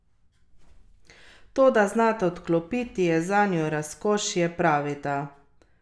To, da znata odklopiti je zanju razkošje, pravita.